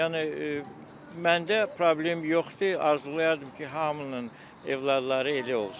Yəni məndə problem yoxdur, arzulayardım ki, hamının övladları elə olsun.